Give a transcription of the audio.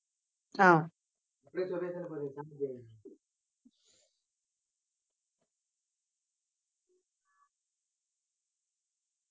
ஆஹ்